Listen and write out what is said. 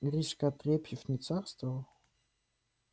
гришка отрепьев не царствовал